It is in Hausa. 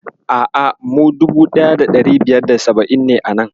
A'a, mu 1570 ne a nan.